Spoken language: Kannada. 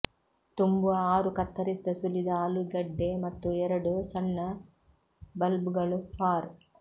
ತುಂಬುವ ಆರು ಕತ್ತರಿಸಿದ ಸುಲಿದ ಆಲೂಗಡ್ಡೆ ಮತ್ತು ಎರಡು ಸಣ್ಣ ಬಲ್ಬ್ಗಳು ಫಾರ್